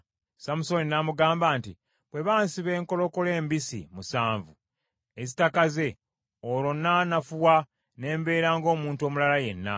Samusooni n’amugamba nti, “Bwe bansiba enkolokolo embisi musanvu, ezitakaze, olwo nnaanafuwa ne mbeera ng’omuntu omulala yenna.”